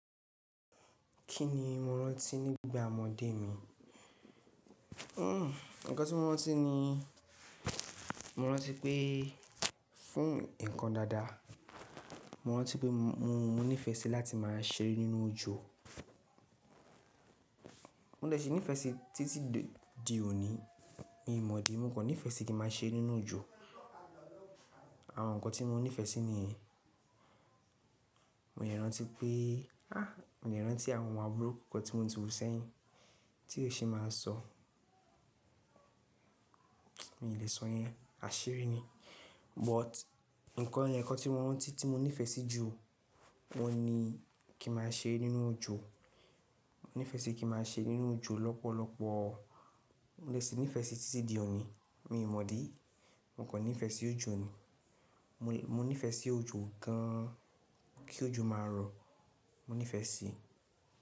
Kí ni mo rántí nígbà ọmọdé mi? Hmm, ǹkan tí mo rántí ni, mo rántí pé fún ǹkan dáadáa, mo rántí pé mo nífẹ̀ẹ́ sí láti máa ṣeré nínú òjò. Mo dẹ̀ ṣi nífẹ̀ẹ́ sí títí di òní, mi mọ̀ idí, mo kan nífẹ̀ẹ́ sí kí n máa ṣeré nínú òjò. Àwọn ǹkan tí mo nífẹ̀ẹ́ sí niyen, mo de rántí pé, ah mo dè rántí àwọn àbúru kọ̀ọ̀kan tí mo ti wù sẹ́yìn tí ó ṣe máa sọ. Mi ò lè sọ yẹn, àṣírí ni. But ǹkan ẹ̀yokan tí mo rántí tí mo nífẹ̀ẹ́ sí jù, oun ní kí n máa ṣere nínú òjò. Mo nífẹ̀ẹ́ sí kí máa ṣere nínú òjò lọ́pọ̀lọpọ̀. Mo dẹ̀ ṣe nífẹ̀ẹ́ sí títí di òní, mi mọ̀dí, mo kò nífẹ̀ẹ́ sí òjò ni. Mo nífẹ̀ẹ́ sí òjò gan an, kí òjò máa rọ, mo nífẹ̀ẹ́ sí.